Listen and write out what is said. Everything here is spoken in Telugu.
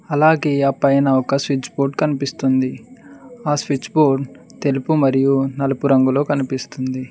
అలాగే ఆపైన ఒక స్విచ్ బోర్డు కనిపిస్తుంది ఆ స్విచ్ బోర్డు తెలుపు మరియు నలుపు రంగులో కనిపిస్తుంది.